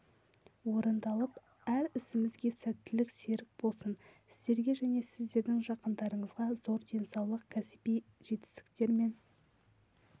орындалып әр ісімізге сәттілік серік болсын сіздерге және сіздердің жақындарыңызға зор денсаулық кәсіби жетістіктер мен